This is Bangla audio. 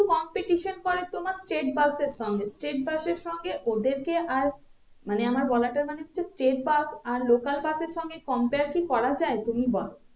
competition করে তোমার state bus এর সঙ্গে state bus এর সঙ্গে ওদেরকে আর মানে আমার বলাতার মানে হচ্ছে state bus আর local bus এর সঙ্গে compare কি করা যায় তুমি বলো